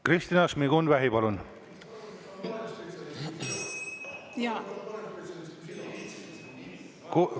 Kristina Šmigun-Vähi, palun!